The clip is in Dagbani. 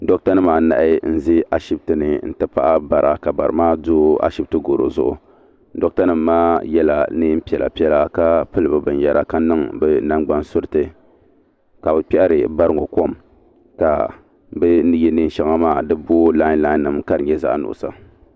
Doɣata nima anahi n ʒɛ ashiptini n tibira paɣa bara ka barimaa do ashipti goro zuɣu doɣata nima maa yela niɛn'piɛla piɛla ka pili binyera ka niŋ bɛ nangban suriti ka bɛ kpehiri bari ŋɔ kom ka bini ye niɛn sheŋa maa di booi la. lai nima ka di nyɛ zaɣa nuɣuso.